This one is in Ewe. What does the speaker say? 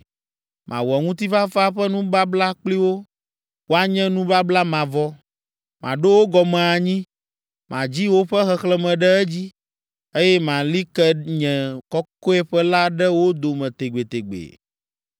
Mawɔ ŋutifafa ƒe nubabla kpli wo, wòanye nubabla mavɔ. Maɖo wo gɔme anyi, madzi woƒe xexlẽme ɖe edzi, eye mali ke nye kɔkɔeƒe la ɖe wo dome tegbetegbe.